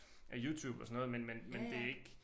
Af Youtube og sådan noget men men men det ikke